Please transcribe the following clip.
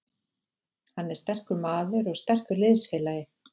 Hann er sterkur maður og sterkur liðsfélagi.